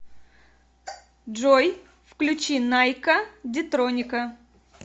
джой включи найкка дитроника